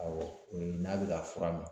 Awɔ o ye n'a be ka fura mi